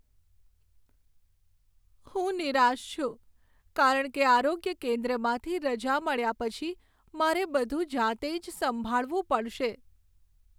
હું નિરાશ છું કારણ કે આરોગ્ય કેન્દ્રમાંથી રજા મળ્યા પછી મારે બધું જાતે જ સંભાળવું પડશે.